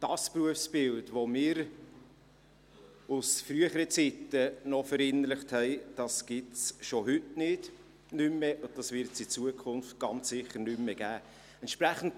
Das Berufsbild, welches wir aus früheren Zeiten noch verinnerlicht haben, gibt es schon heute nicht mehr und es wird es in Zukunft ganz sicher nicht mehr geben.